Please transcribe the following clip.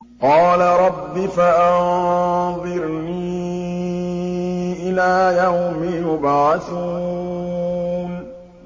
قَالَ رَبِّ فَأَنظِرْنِي إِلَىٰ يَوْمِ يُبْعَثُونَ